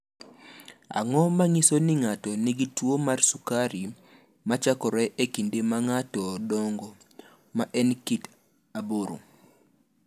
Ang’o ma nyiso ni ng’ato nigi tuwo mar sukari ma chakore e kinde ma ng’ato dongo, ma en kit 8?